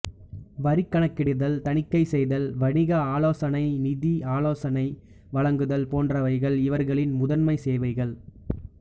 வரி கணக்கிடுதல் தணிக்கை செய்தல் வணிக ஆலோசனை நிதி ஆலோசனை வழங்குதல் போன்றவைகள் இவர்களின் முதன்மை சேவைகள்